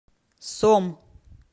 сом